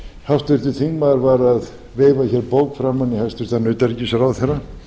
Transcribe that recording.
háttvirtur þingmaður var að veifa hér bók framan í hæstvirts utanríkisráðherra